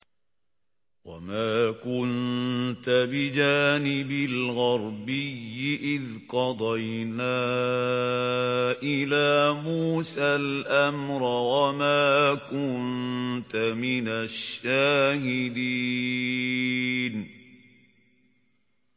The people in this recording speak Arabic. وَمَا كُنتَ بِجَانِبِ الْغَرْبِيِّ إِذْ قَضَيْنَا إِلَىٰ مُوسَى الْأَمْرَ وَمَا كُنتَ مِنَ الشَّاهِدِينَ